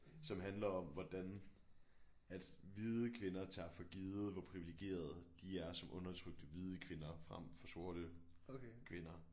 Som handler om hvordan at hvide kvinder tager for givet hvor privilegerede de er som undertrykte hvide kvinder frem for sorte kvinder